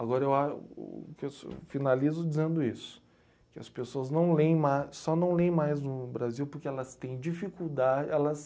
Agora eu a o fiço finalizo dizendo isso, que as pessoas não lêem ma só não lêem mais no Brasil porque elas têm dificulda, elas...